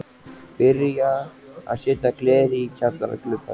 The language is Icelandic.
Byrjað að setja glerið í kjallara gluggana.